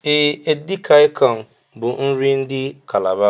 E, edikang bu nri ndi Calabar